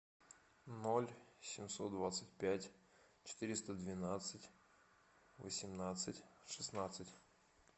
ноль семьсот двадцать пять четыреста двенадцать восемнадцать шестнадцать